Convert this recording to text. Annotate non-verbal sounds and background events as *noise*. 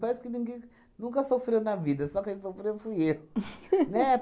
Parece que ninguém nunca sofreu na vida, só quem sofreu fui eu. *laughs* Né?